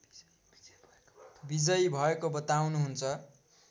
विजयी भएको बताउनुहुन्छ